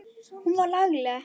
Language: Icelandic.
Hún var lagleg.